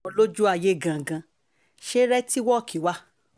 olójú ayé gangan ṣe rètíwọ́ọ̀kì wa